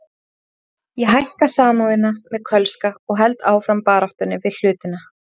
Ég hækka Samúðina með Kölska og held áfram baráttunni við hlutina.